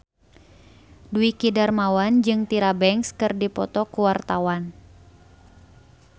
Dwiki Darmawan jeung Tyra Banks keur dipoto ku wartawan